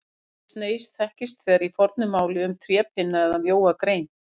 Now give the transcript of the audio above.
Orðið sneis þekkist þegar í fornu máli um trépinna eða mjóa grein.